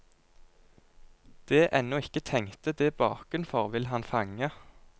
Det ennå ikke tenkte, det bakenfor, vil han fange.